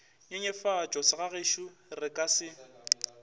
nyenyefatša segagešo re ka se